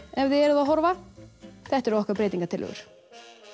ef þið eruð að horfa þetta eru okkar breytingartillögur